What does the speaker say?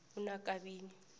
unakabini